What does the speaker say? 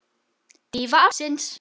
Dýfa ársins?